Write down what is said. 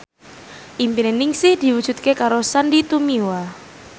impine Ningsih diwujudke karo Sandy Tumiwa